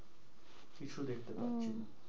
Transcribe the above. কিছু দেখতে আহ পাচ্ছি না।